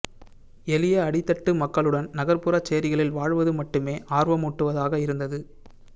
எளிய அடித்தட்டு மக்களுடன் நகர்ப்புறச் சேரிகளில் வாழ்வது மட்டுமே ஆர்வமூட்டுவதாக இருந்தது